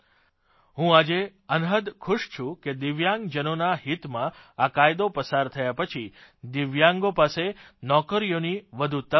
હું આજે અનહદ ખુશ છું કે દિવ્યાંગજનોના હિતમાં આ કાયદો પસાર થયા પછી દિવ્યાંગો પાસે નોકરીઓની વધુ તકો હશે